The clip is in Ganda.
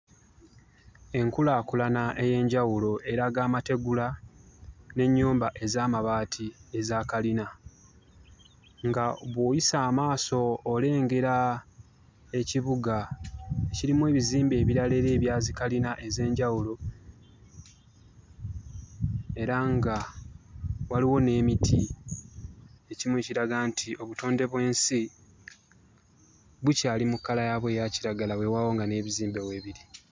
Enkulaakulana ey'enjawulo eraga amategula n'ennyumba ez'amabaati ezaakalina. Nga bw'oyisa amaaso olengera ekibuga kirimu ebizimbe ebirala era ebya zikalina ez'enjawulo era nga waliwo n'emiti. Ekimu ekiraga nti obutonde bw'ensi bukyali mu kkala yaabwo eya kiragala weewaawo nga n'ebizimbe weebiri.